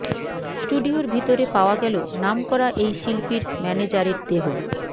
স্টুডিয়োর ভিতরে পাওয়া গেলো নামকরা এই শিল্পীর ম্যানেজারের দেহ